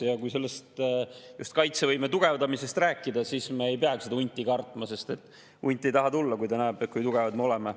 Ja kui kaitsevõime tugevdamisest rääkida, siis me ei peagi seda hunti kartma, sest hunt ei taha tulla, kui ta näeb, kui tugevad me oleme.